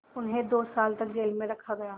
उन्हें दो साल तक जेल में रखा गया